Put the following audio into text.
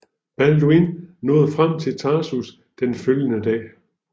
Balduin nåede frem til Tarsus den følgende dag